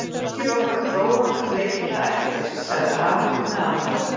Engin okkar dróga gat leikið það eftir, sagði Ari með aðdáun.